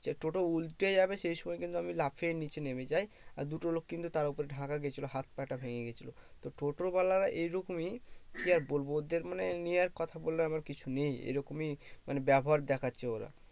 যে টোটো উল্টে যাবে সেই সময় কিন্তু আমি লাফিয়ে নিচে নেমে যাই আর দুটো লোক কিন্তু তার উপর ঢাকা গেছিলো হাত পা টা ভেঙে গেছিলো তো টোটোর এই রকমই কি আর বলবো ওদের মানে নিয়ে আর কথা বলার আমার কিছু নেই এরকমই মানে ব্যবহার